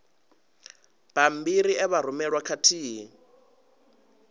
bammbiri e vha rumelwa khathihi